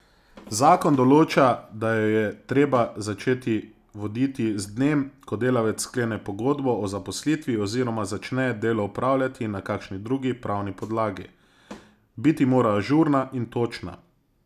Zakon določa, da jo je treba začeti voditi z dnem, ko delavec sklene pogodbo o zaposlitvi oziroma začne delo opravljati na kakšni drugi pravni podlagi, biti mora ažurna in točna.